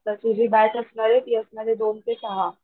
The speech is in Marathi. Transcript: तुझी बॅच असणारे ती असणारे दोन ते सहा,